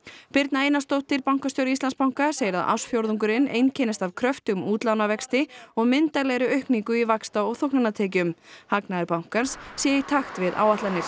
birna Einarsdóttir bankastjóri Íslandsbanka segir að ársfjórðungurinn einkennist af kröftugum útlánavexti og myndarlegri aukningu í vaxta og þóknanatekjum hagnaður bankans sé í takt við áætlanir